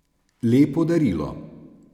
Lepo darilo.